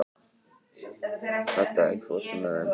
Hadda, ekki fórstu með þeim?